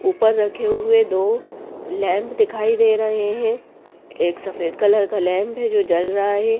ऊपर रखे हुए दो लैंप दिखाई दे रहे हैं एक सफेद कलर का लैंप है जो जल रहा है।